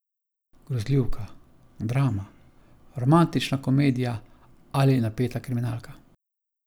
Grozljivka, drama, romantična komedija ali napeta kriminalka?